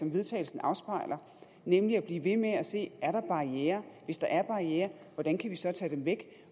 vedtagelse afspejler nemlig at blive ved med at se er der barrierer og hvis der er barrierer hvordan kan vi så tage dem væk